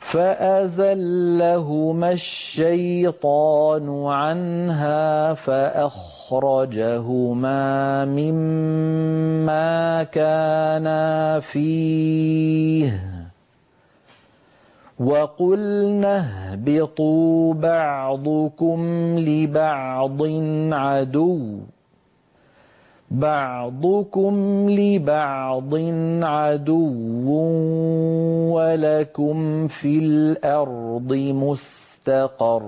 فَأَزَلَّهُمَا الشَّيْطَانُ عَنْهَا فَأَخْرَجَهُمَا مِمَّا كَانَا فِيهِ ۖ وَقُلْنَا اهْبِطُوا بَعْضُكُمْ لِبَعْضٍ عَدُوٌّ ۖ وَلَكُمْ فِي الْأَرْضِ مُسْتَقَرٌّ